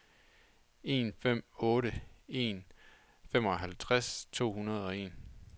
en fem otte en femoghalvtreds to hundrede og en